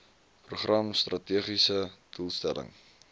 program strategiese doelstelling